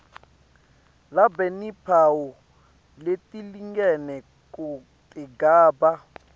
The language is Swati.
labanetimphawu letilingene kutigaba